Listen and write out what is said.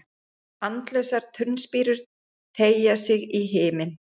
Andlausar turnspírur teygja sig í himin.